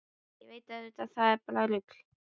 Ég veit auðvitað að það er bara rugl.